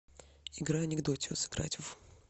игра анекдотио сыграть в